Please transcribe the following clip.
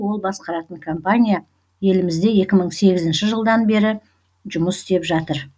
ол басқаратын компания елімізде екі мың сегізінші жылдан бері жұмыс істеп жатыр